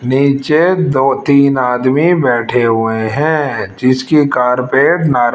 नीचे दो तीन आदमी बैठे हुए हैं जिसकी कारपेट ना--